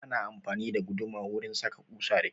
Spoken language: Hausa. Ana amfani da guduma wurin saka ƙusa da kyau